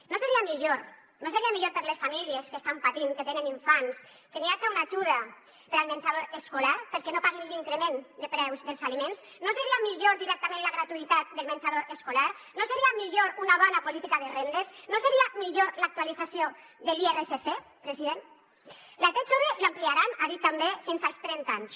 no seria millor per a les famílies que estan patint que tenen infants que hi haja una ajuda per al menjador escolar perquè no paguen l’increment de preus dels aliments no seria millor directament la gratuïtat del menjador escolar no seria millor una bona política de rendes no seria millor l’actualització de l’irsc president la t jove l’ampliaran ha dit també fins als trenta anys